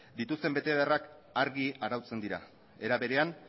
dituzten betebeharrak argi arautzen dira era berean